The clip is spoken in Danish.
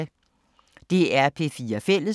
DR P4 Fælles